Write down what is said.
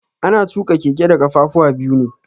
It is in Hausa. Ana tuƙa keke da kafafuwa biyu ne.